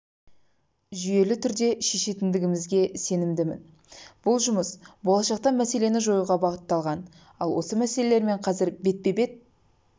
жүйелі түрде шешетіндігімізге сенімдімін бұл жұмыс болашақта мәселені жоюға бағытталған ал осы мәселелермен қазір бетпе-бет